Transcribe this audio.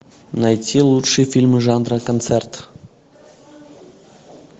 найти лучшие фильмы жанра концерт